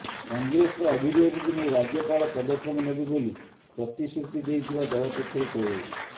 କଂଗ୍ରେସର ଅଭିଯୋଗକୁ ନେଇ ରାଜ୍ୟପାଳ ପଦକ୍ଷେପ ନେବେ ବୋଲି ପ୍ରତିଶ୍ରୁତି ଦେଇଥିବା ଦଳ ପକ୍ଷରୁ କୁହାଯାଇଛି